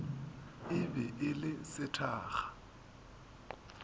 e be e le sethakga